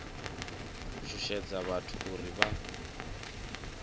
u shushedza vhathu uri vha